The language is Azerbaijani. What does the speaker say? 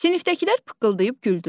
Sinifdəkilər pıqqıldayıb güldülər.